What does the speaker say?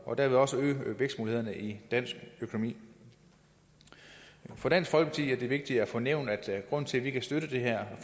og dermed også øge vækstmulighederne i dansk økonomi for dansk folkeparti er det vigtigt at få nævnt at grunden til at vi kan støtte det her